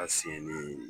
A siyɛn ni